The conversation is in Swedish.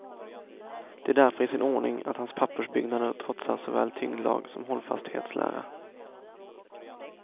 Det är därför i sin ordning att hans pappersbyggnader trotsar såväl tyngdlag som hållfasthetslära.